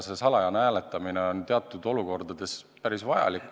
Salajane hääletamine on teatud olukordades päris vajalik.